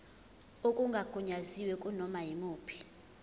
okungagunyaziwe kunoma yimuphi